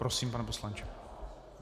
Prosím, pane poslanče.